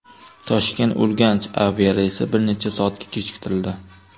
Toshkent-Urganch aviareysi bir necha soatga kechiktirildi.